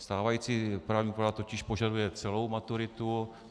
Stávající právní úprava totiž požaduje celou maturitu.